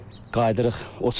İndi qayıdırıq.